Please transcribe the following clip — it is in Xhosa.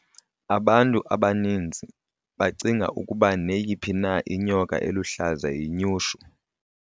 abantu abaninzi bacinga ukuba neyiphi na inyoka eluhlaza yinyushu